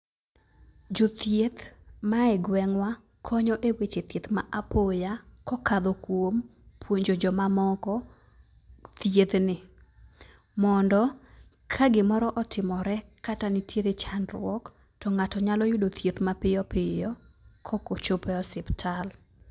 jothieth mae gwengwa konyo e weche thieth ma apoya kokadho kuom puonjo jomamoko thiedhni, mondo ka gimoro otimore kata nitiere chandruok to ng'ato nyalo yudo thieth mapiyo piyo kok ochope osiptal.